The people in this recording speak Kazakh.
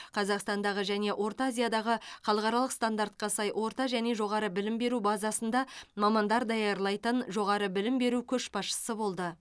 қазақстандағы және орта азиядағы халықаралық стандартқа сай орта және жоғары білім беру базасында мамандар даярлайтын жоғары білім беру көшбасшысы болды